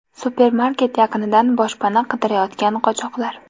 Supermarket yaqinidan boshpana qidirayotgan qochoqlar.